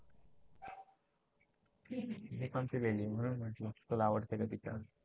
मी पण पिली आहे म्हणून म्हटलं तुला आवडती का ति चहा